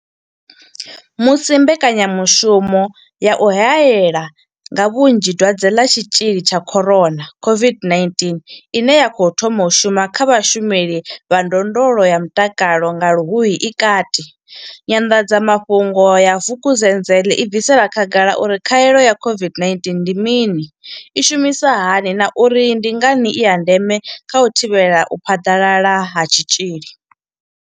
Musi mbekanyamu shumo ya u hae la nga vhunzhi Dwadze ḽa tshitzhili tsha corona COVID-19 ine ya khou thoma u shuma kha vhashumeli vha ndondolo ya mutakalo nga luhuhi i kati, nyanḓadzamafhungo ya vukuzenzele i bvisela khagala uri khaelo ya COVID-19 ndi mini, i shumisa hani na uri ndi ngani i ya ndeme kha u thivhela u phaḓalala ha tshitzhili.